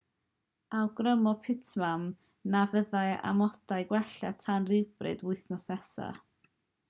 awgrymodd pittman na fyddai amodau'n gwella tan rywbryd wythnos nesaf